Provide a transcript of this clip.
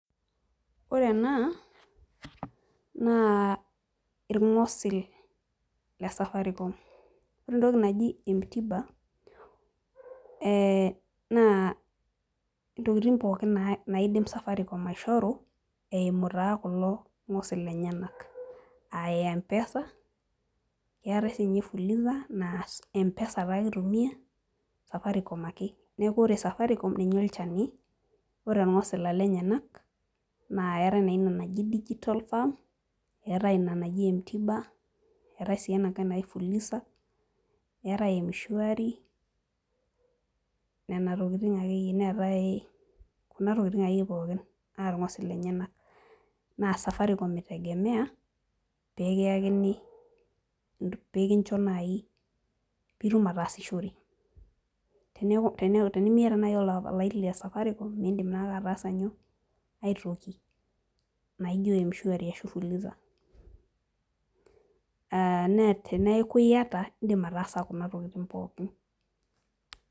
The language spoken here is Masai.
Ore ena naa ilgosil le safaricom, ore entoki naji mt bank, naa ntokitin pookin naidim sirkali aing'or, naa intokitin taa Kuna irngosil lenyenal.aa empesa.aa fuliza. naa empesa taa ake itumia , safaricom ake. neeku ore safaricom ketii olchani. ore irngosil lenyenal. naa eeta naa Ina naji digital farm, eetae m t bank, eetae ena naji fulisa. Eetae mshwari Nena tokitin akeyie. neetae Kuna tokitin akeyie pookin aa irngosil lenyenal. naa safaricom itegemea pee kiyakini .pee kincho naaji pee itum ataasishore. tenimiaata naaji olaini le safaricom miidim ataasa aitoki naijo mshwari ashu fuliza.aa naa teneeku iyata idim ataasa Kuna tokitin pookin.